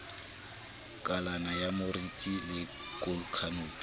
kalana ya moriti le khanopi